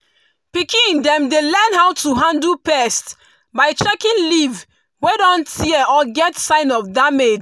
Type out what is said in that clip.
pikin dem dey learn how to handle pests by checking leaf wey don tear or get sign of damage.